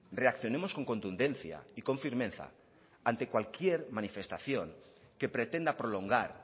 reaccionemos con contundencia y con firmeza ante cualquier manifestación que pretenda prolongar